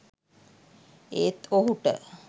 ඒත් ඔහුට